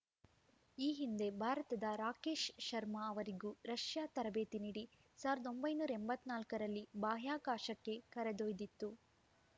ಈ ಹಿಂದೆ ಭಾರತದ ರಾಕೇಶ್‌ ಶರ್ಮಾ ಅವರಿಗೂ ರಷ್ಯಾ ತರಬೇತಿ ನೀಡಿ ಸಾವಿರದ ಒಂಬೈನೂರ ಎಂಬತ್ತ ನಾಲ್ಕರಲ್ಲಿ ಬಾಹ್ಯಾಕಾಶಕ್ಕೆ ಕರೆದೊಯ್ದಿತ್ತು